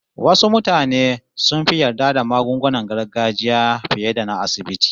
Wasu mutane sun fi yarda da magungunan gargajiya fiye da na asibiti